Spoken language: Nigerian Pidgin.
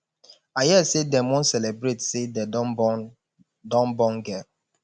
i hear say dem wan celebrate say dem don born don born girl